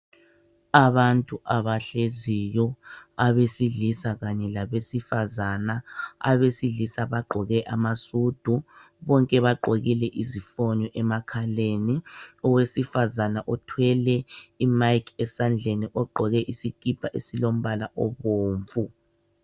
Abantu abahleziyo abesilisa kanye labesifazana, abesilisa bagqoke amasudu bonke bagqokile izifonyo emakhaleni, owesifazana uthwele imayikhi esandleni ogqoke isikipa esilo mbala obomvu.